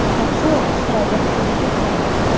Kapsula Avstraliya hududiga qo‘ndi.